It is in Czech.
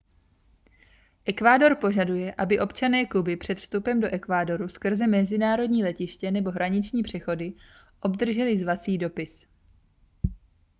ekvádor požaduje aby občané kuby před vstupem do ekvádoru skrze mezinárodní letiště nebo hraniční přechody obdrželi zvací dopis